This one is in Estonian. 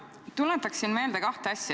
Ma tuletaksin meelde kahte asja.